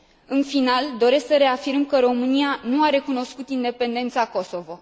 În final, doresc să reafirm că România nu a recunoscut independența Kosovo.